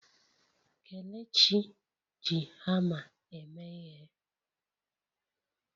Kelechi ji hamma eme ihe.